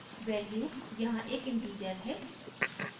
value यहाँ एक integer है